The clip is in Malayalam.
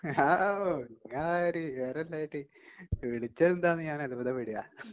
നിങ്ങളാര് ...വിവരമില്ലാഞ്ഞിട്ട്....വിളിച്ചത് എന്താ നു ഞാൻ അത്ഭുതപ്പെടുവാ...